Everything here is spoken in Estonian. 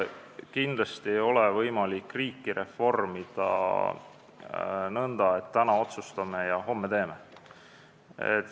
Kindlasti ei ole võimalik riiki reformida nõnda, et täna otsustame ja homme teeme.